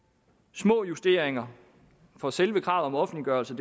små justeringer for selve kravet om offentliggørelse